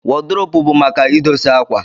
wọd rop bu maka idosie akwa.